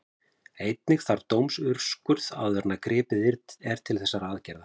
Einnig þarf dómsúrskurð áður en gripið er til þessara aðgerða.